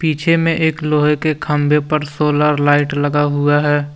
पीछे में एक लोहे के खंभे पर सोलर लाइट लगा हुआ है।